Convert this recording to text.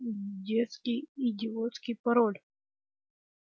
детский идиотский пароль